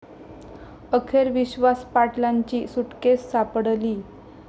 अखेर विश्वास पाटलांची सुटकेस सापडली